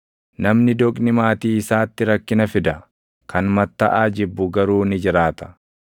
Namni doqni maatii isaatti rakkina fida; kan mattaʼaa jibbu garuu ni jiraata.